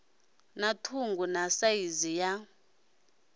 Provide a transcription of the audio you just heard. na ṱhungu na saizi ya